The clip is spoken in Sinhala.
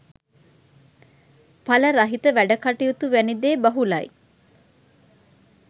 පල රහිත වැඩ කටයුතු වැනි දේ බහුලයි